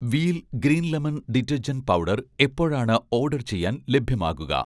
Wheel' green lemon detergent powder എപ്പോഴാണ് order ചെയ്യാൻ ലഭ്യമാകുക?